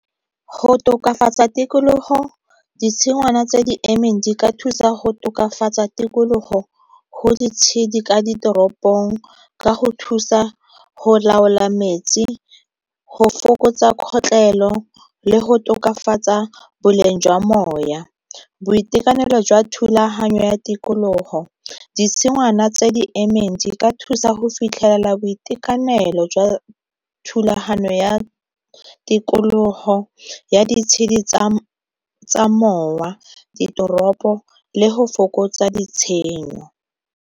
Go tokafatsa tikologo ditshingwana tse di emeng di ka thusa go tokafatsa tikologo go ditshedi ka ditoropong, ka go thusa go laola metsi, go fokotsa kgotlelelo, le go tokafatsa boleng jwa moya. Boitekanelo jwa thulaganyo ya tikologo ditshingwana tse di emeng di ka thusa go fitlhelela boitekanelo jwa thulaganyo ya tikologo ya ditshedi tsa mowa ditoropo le go fokotsa ditshenyo.